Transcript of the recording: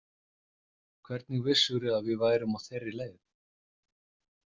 Hvernig vissirðu að við værum á þeirri leið?